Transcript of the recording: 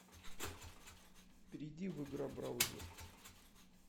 перейди в игра браузер